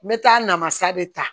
N bɛ taa namasa de ta